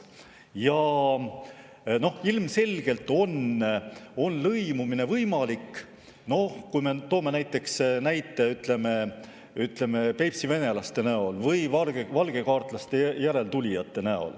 Ilmselgelt on lõimumine võimalik, näiteks võib tuua Peipsi venelased või valgekaartlaste järeltulijad.